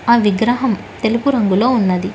ఆ విగ్రహం తెలుపు రంగులో ఉన్నది.